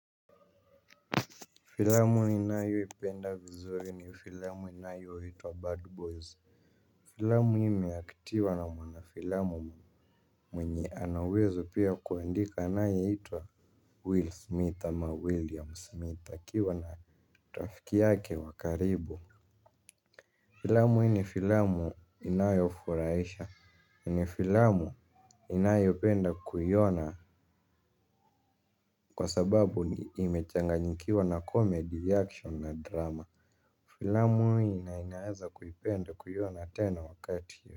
Filamu ninayoipenda vizuri ni filamu inayoitwa Bad Boys. Filamu hii imeactiwa na mwanafilamu mwenye ana uwezo pia wa kuandika anayeitwa Will Smith ama William Smith. Akiwa na rafiki yake wa karibu filamu hii ni filamu inayofurahisha. Ni filamu ninayopenda kuiona kwa sababu imechanganyikiwa na comedy, action na drama. Filamu hii ninaweza kuipenda kuiona tena wakati.